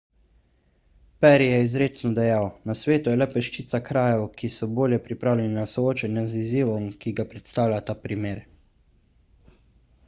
perry je izrecno dejal na svetu je le peščica krajev ki so bolje pripravljeni na soočanje z izzivom ki ga predstavlja ta primer